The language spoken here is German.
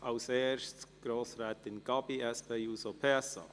Als erste hat Grossrätin Gabi das Wort.